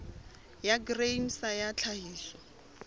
ya grain sa ya tlhahiso